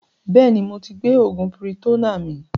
Bẹ́ẹ̀ni moti gbé oògùn piritonnáà mi